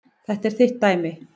Þetta er þitt dæmi.